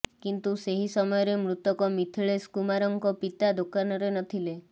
କିନ୍ତୁ ସେହି ସମୟରେ ମୃତକ ମିଥିଳେଶ କୁମାରଙ୍କ ପିତା ଦୋକାନରେ ନଥିଲେ